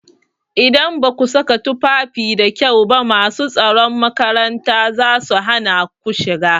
Idan baku saka tufafi da kyau ba masu tsaron makaranta zasu hana ku shiga.